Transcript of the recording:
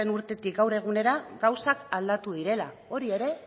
urtetik gaur egunera gauzak aldatu direla hori ere